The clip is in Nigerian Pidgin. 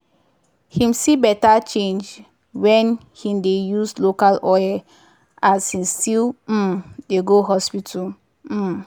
him see better change wen him dey use local oil as him still um dey go hospital. um